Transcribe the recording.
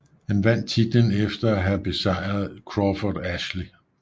Han vandt titlen efter at hjave besejret Crawford Ashley